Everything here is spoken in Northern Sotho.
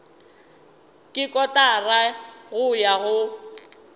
ke kotara go ya go